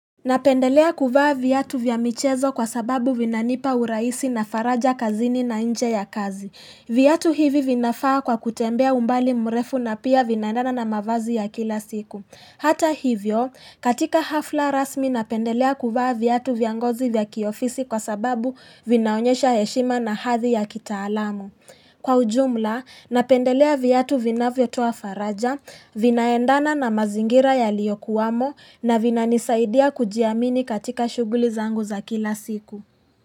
Napendelea kuvaa viatu vya michezo kwa sababu vinanipa urahisi na faraja kazini na nje ya kazi. Viatu hivi vinafaa kwa kutembea umbali mrefu na pia vinaendana na mavazi ya kila siku. Hata hivyo, katika hafla rasmi napendelea kuvaa viatu vya ngozi vya kiofisi kwa sababu vinaonyesha heshima na hadhi ya kitaalamu. Kwa ujumla, napendelea viatu vinavyotoa faraja, vinaendana na mazingira yaliyokuwamo na vinanisaidia kujiamini katika shughuli zangu za kila siku.